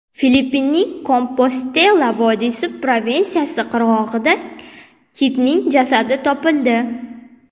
Filippinning Kompostela vodiysi provinsiyasi qirg‘og‘ida kitning jasadi topildi.